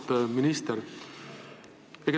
Auväärt minister!